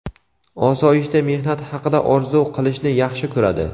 osoyishta mehnat haqida orzu qilishni yaxshi ko‘radi.